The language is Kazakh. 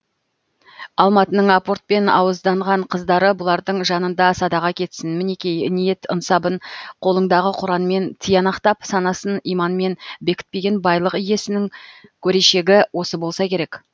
алматының апортпен ауызданған қыздары бұлардың жанында садаға кетсін мінеки ниет ынсабын қолыңдағы құранмен тиянақтап санасын иманмен бекітпеген байлық иесінің көрешігі осы болса керек